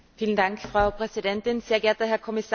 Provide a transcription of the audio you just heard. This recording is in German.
Frau Präsidentin, sehr geehrter Herr Kommissar!